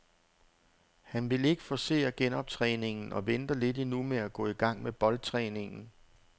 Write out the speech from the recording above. Han vil ikke forcere genoptræningen og venter lidt endnu med at gå i gang med boldtræningen.